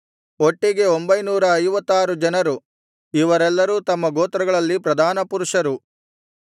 ಒಟ್ಟಿಗೆ ಒಂಬೈನೂರ ಐವತ್ತಾರು ಜನರು ಇವರೆಲ್ಲರೂ ತಮ್ಮ ಗೋತ್ರಗಳಲ್ಲಿ ಪ್ರಧಾನಪುರುಷರು